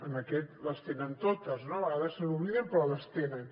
en aquest les tenen totes no a vegades se n’oblidem però les tenen